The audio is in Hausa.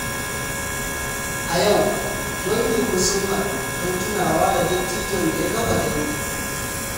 A yau, danginmu sun haɗu don tunawa da dattijon da ya kafa dangin.